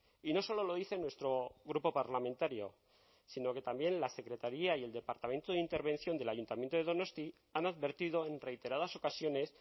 y no solo lo dice nuestro grupo parlamentario sino que también la secretaría y el departamento de intervención del ayuntamiento de donosti han advertido en reiteradas ocasiones